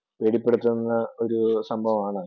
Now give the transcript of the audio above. ഭീതിപ്പെടുത്തുന്ന ഒരു സംഭവമാണ്.